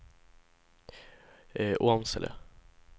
Åmsele